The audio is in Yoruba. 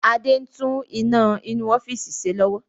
Adé ń tún iná inú ọ́fíìsì ṣe lọ́wọ́